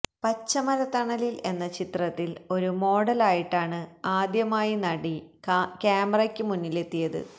പഞ്ചമരത്തണലില് എന്ന ചിത്രത്തില് ഒരു മോഡലായിട്ടാണ് ആദ്യമായി നടി ക്യാമറയ്ക്ക് മുന്നിലെത്തിയത്